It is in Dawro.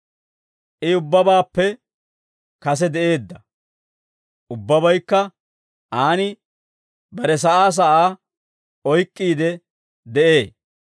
I ubbabaappe kase de'eedda; ubbabaykka Aan bare sa'aa sa'aa oyk'k'iide de'ee.